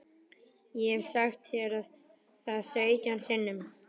Ég hef sagt þér það sautján sinnum.